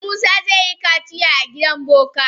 Eh musa zai yi kaciya a gidan boka.